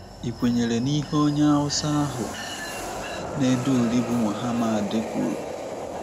Ị̀kwenyere n'ihe onye Hausa ahụ na-ede uri bụ́ Mohammad kwuru?